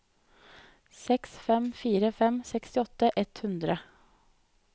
seks fem fire fem sekstiåtte ett hundre